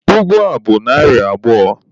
Ụgụ a bụ narị abụọ.